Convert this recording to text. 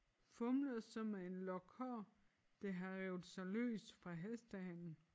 Fumler så med en lok hår der har revet sig løs fra hestehalen